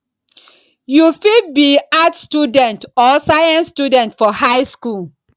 you fit be arts student or science student for high skool